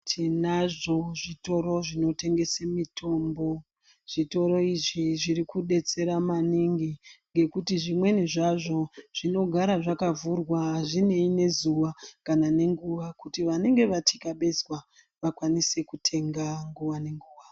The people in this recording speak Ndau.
Tinazvo zvitoro zvinotengese mitombo zvitoro izvi zviri kudetsera kurapa maningi ngekuti zvimweni zvazvo zvinogara zvakavhurwa azvinei nezuva kana nenguwa kuti vanenge vatikabenzwa vakwanise kutenga nguwa nenguwa